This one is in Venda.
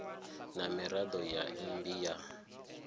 na miraḓo ya mmbi ya